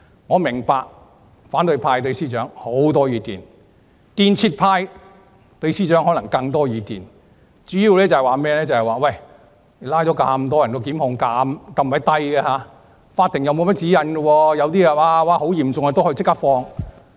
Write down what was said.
我明白反對派對司長有很多意見，但"建設派"對司長可能有更多意見，主要是拘捕了很多人，但檢控人數很低，法庭又沒有甚麼指引。